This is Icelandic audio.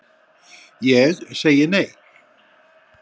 Ég segi nei,